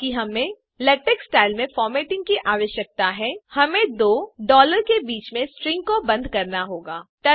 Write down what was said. क्योंकि हमें LaTeX style formatting की आवश्यकता है हमें दो के बीच में स्ट्रिंग को बन्द करना होगा